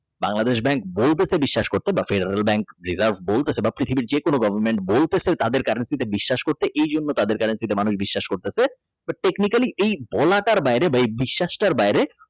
BangladeshBank gold টাকেবিশ্বাস করছে বাপ ফেডারেল Bank বল তাছে বা পৃথিবীর যেকোনো Government বলতেছে তাদের currency তে বিশ্বাস করছে এইজন্য তাদের currency মানুষ বিশ্বাস কইতাছে তোর Currency এ বলাটার বাইরে বা বিশ্বাস তার বাইরে